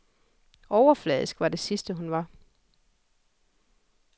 Overfladisk var det sidste, hun var.